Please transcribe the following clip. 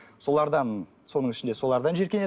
солардан соның ішінде солардан жиіркенеді